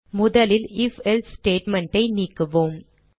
முதலில் if else statement ஐ நீக்குவோம்